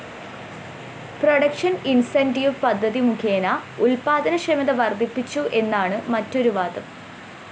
production incentive പദ്ധതിമുഖേന ഉത്പാദനക്ഷമത വര്‍ധിപ്പിച്ചു എന്നാണ് മറ്റൊരു വാദം